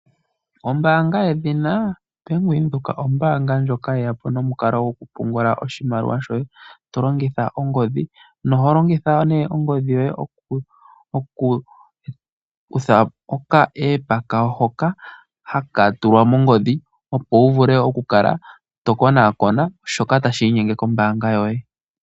Ombanga yedhina Bank Widheok ombanga ndjoka yeyapo nomukalo goku pungula oshimaliwa shoye tolongitha ongodhi, noholongitha ne ongodhi yoye oku kutha oka epa kayo hoka hakatulwa mongodhi opo wuvule oku kala to konakona shoka tashinyenge kombanga yoye.